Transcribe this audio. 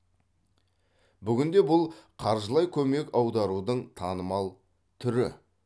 бүгінде бұл қаржылай көмек аударудың танымал түрі